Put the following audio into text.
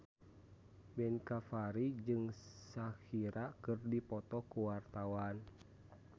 Ben Kasyafani jeung Shakira keur dipoto ku wartawan